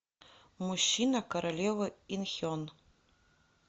мужчина королевы ин хен